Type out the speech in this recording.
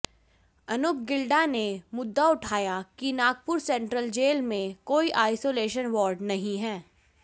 अनूप गिल्डा ने मुद्दा उठाया कि नागपुर सेंट्रल जेल में कोई आइसोलेशन वार्ड नहीं है